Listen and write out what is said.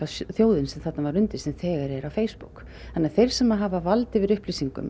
þjóðin sem þarna var undir sem þegar er á Facebook þannig að þeir sem hafa vald yfir upplýsingum